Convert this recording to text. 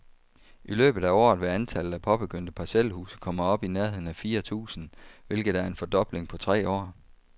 I løbet af året vil antallet af påbegyndte parcelhuse komme op i nærheden af fire tusind, hvilket er en fordobling på tre år.